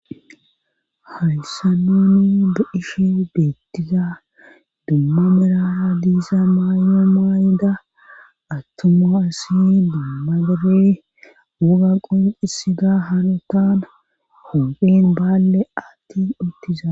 Haysan nuni dudishe beettiza dumma mirara diisa maayno maayida attuma asi dumma bere wuga qonqisiga hano taan hophen baalle attin uttiza.